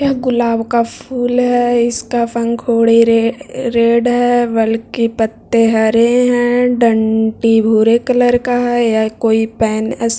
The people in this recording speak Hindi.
यह गुलाब का फूल है इसका पंखुड़ी रे रेड है बल्कि पत्ते हरे है डंटी भूरे कलर का है यह कोई पेन --